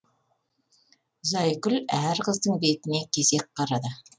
зайкүл әр қыздың бетіне кезек қарады